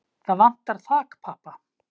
Það vantar þakpappa.